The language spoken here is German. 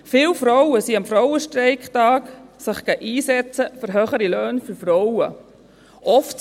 Viele Frauen setzten sich am Frauenstreiktag für höhere Löhne für Frauen ein.